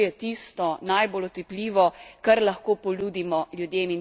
To je tisto najbolj otipljivo, kar lahko ponudimo ljudem.